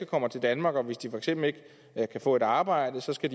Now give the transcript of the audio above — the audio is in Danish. kommer til danmark og hvis de for eksempel ikke kan få et arbejde så skal